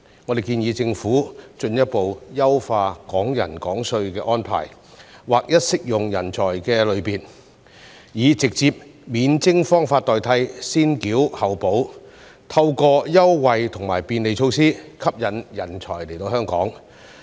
我們建議政府進一步優化"港人港稅"的安排，劃一適用人才類別，以直接免徵方法代替"先繳後補"，透過優惠和便利措施吸引人才來港。